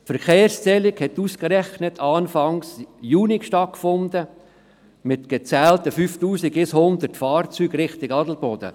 Die Verkehrszählung fand ausgerechnet Anfang Juni statt, mit gezählten 5100 Fahrzeugen in Richtung Adelboden.